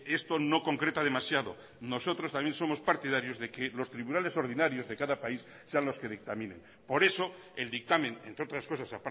esto no concreta demasiado nosotros también somos partidarios de que los tribunales ordinarios de cada país sean los que dictaminen por eso el dictamen entre otras cosas